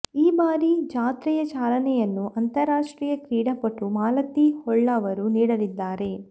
ಈ ಬಾರಿ ಜಾತ್ರೆಯ ಚಾಲನೆಯನ್ನು ಅಂತಾರಾಷ್ಟ್ರೀಯ ಕ್ರೀಡಾಪಟು ಮಾಲತಿ ಹೊಳ್ಳವರು ನೀಡಲಿದ್ದಾರೆ